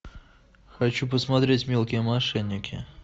хочу посмотреть мелкие мошенники